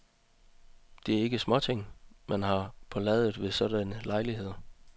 Det er ikke småting, man har på ladet ved sådanne lejligheder.